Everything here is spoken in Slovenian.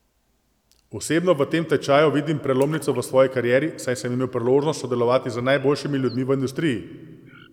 Osebno v tem tečaju vidim prelomnico v svoji karieri, saj sem imel priložnost sodelovati z najboljšimi ljudmi v industriji ...